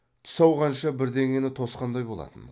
түс ауғанша бірдеңені тосқандай болатын